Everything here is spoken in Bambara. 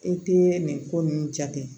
I tɛ nin ko ninnu jate